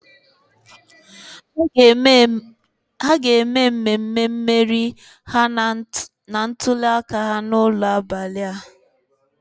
Ha ga-eme mmemme mmeri ha na ntuliaka ha n'ụlọ n'abalị a.